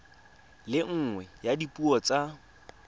le nngwe ya dipuo tsa